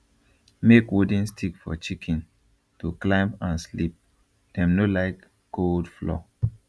make wooden stick for chicken to climb and sleep dem no like cold floor